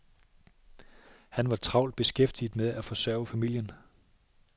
Han var travlt beskæftiget med at forsørge familien.